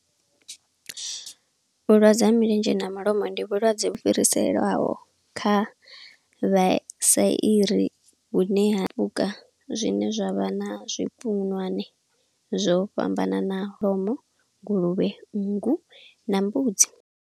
Vhulwadze ha milenzhe na malomo, ndi vhulwadze vhu fhiriselwaho kha vha i sairi vhune ha fhuka zwine zwavha na zwi hone zwo fhambananaho, kholomo, nguluvhe, nngu, na mbudzi.